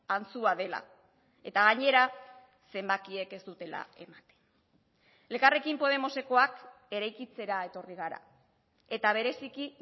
antzua dela eta gainera zenbakiek ez dutela ematen elkarrekin podemosekoak eraikitzera etorri gara eta bereziki